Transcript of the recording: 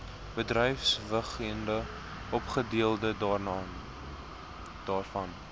bedrywighede ofgedeelte daarvan